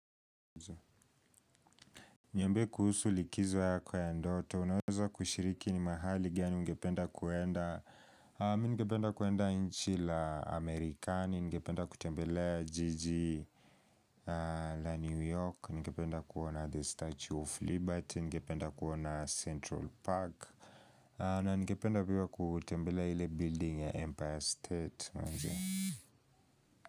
Niambie kuhusu likizo ya kwa ya ndoto, unaweza kushiriki ni mahali gani ngependa kuenda Ningependa kuenda nchi la Amerikani, ningependa kutembele jiji la New York, ningependa kuona The Statue of Liberty, ningependa kuona Central Park na ngependa kuwa kutembele hile building ya Empire State.